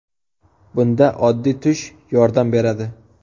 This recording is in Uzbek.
Bunda oddiy tush yordam beradi.